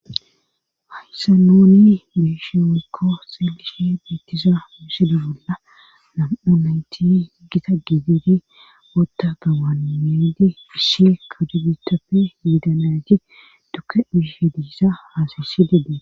Hayssan nuni beeshe woykko xeellishe beettiza misila bolla nam'u nayti gita giddi utta asi issi kare biitappe yiida nayita tukke uyishenne haasayisishe dees.